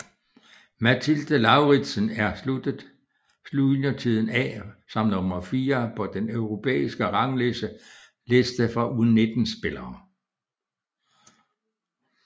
Mathilde Lauridsen er sluttet juniortiden af som nummer fire på den europæiske rangliste for U19 spillere